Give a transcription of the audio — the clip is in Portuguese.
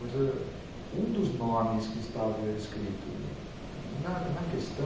Mas ãh um dos nomes que estava escrito na questão...